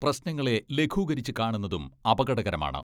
പ്രശ്നങ്ങളെ ലഘൂകരിച്ച് കാണുന്നതും അപകടകരമാണ്.